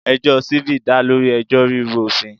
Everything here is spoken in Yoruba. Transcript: Ẹjọ́ civil dá lórí ẹjọ́ rírú òfin.